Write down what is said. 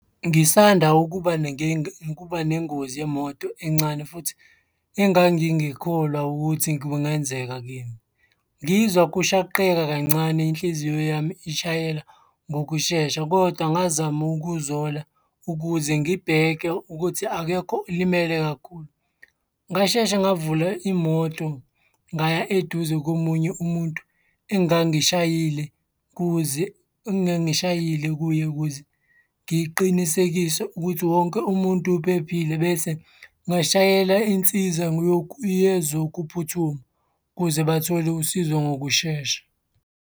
Ngisanda ukuba ukuba nengozi yemoto encane futhi engangingikholwa ukuthi kungenzeka kimi. Ngizwa kushaqeka kancane inhliziyo yami ishayela ngokushesha kodwa ngazama ukuzola ukuze ngibheke ukuthi akekho olimele kakhulu. Ngasheshe ngavula imoto, ngaya eduze komunye umuntu engangishayile, kuze. Engangishayile kuye ukuze ngiqinisekise ukuthi wonke umuntu uphephile bese ngashayela insiza yokuyezokuphuthuma ukuze bathole usizo ngokushesha.